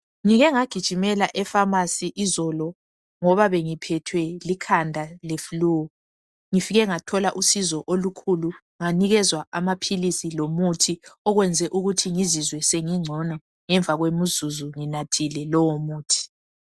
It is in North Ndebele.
Ngike ngagijimela eFamasi izolo ngoba bengiphethwe likhanda leFlu. Ngifike ngathola usizo olukhulu nganikezwa amaphilisi lomuthi okwenze ukuthi ngizizwe sengingcono ngemva kwemizuzu nginathile lowo muthi.